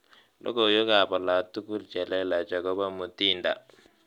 Logoiwek alatugul chelelach akobo Mutinda